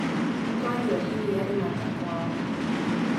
Nĩtwanyua iria imata kwao